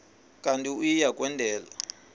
kanti uia kwendela